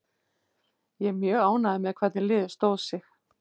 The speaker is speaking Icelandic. Ég er mjög ánægður með hvernig liðið stóð sig.